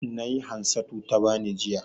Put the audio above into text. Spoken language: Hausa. Nai Hansatu ta bani, jiya.